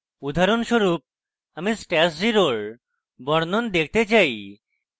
উদাহরণস্বরূপ আমি stash @{0} এর বর্ণন দেখতে say